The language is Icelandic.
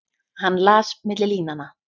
Hann las milli línanna.